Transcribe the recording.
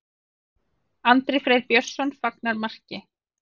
Andri Freyr Björnsson fagnar marki.